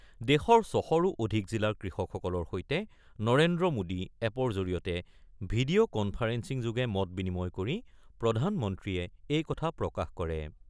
দেশৰ ৬০০ৰো অধিক জিলাৰ কৃষকসকলৰ সৈতে নৰেন্দ্ৰ মোদী এপৰ জৰিয়তে ভিডিঅ' কন্ফাৰেন্সিংযোগে মত বিনিময় কৰি প্ৰধানমন্ত্ৰীয়ে এই কথা প্ৰকাশ কৰে ।